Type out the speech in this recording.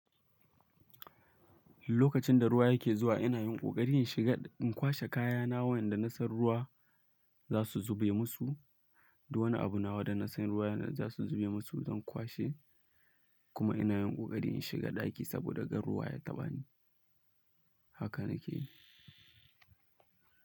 Lokacin da ruwa yake zuwa ina yin ƙoƙari in shiga, in kwashe kaya na wanda na san ruwa za su zube musu da wani abu na wa da na san ruwa za su zube musu zan kwashe kuma ina yin ƙoƙari in shiga ɗaki saboda gan ruwa ya taɓa ni. Haka na ke yi.